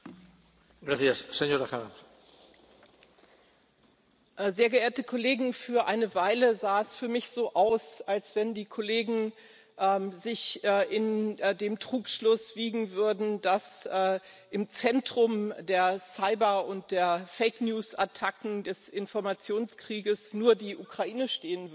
Herr Präsident, sehr geehrte Kollegen! Für eine Weile sah es für mich so aus, als wenn die Kollegen sich in dem Trugschluss wiegen würden, dass im Zentrum der Cyber und der Fake News Attacken des Informationskriegs nur die Ukraine stehen würde.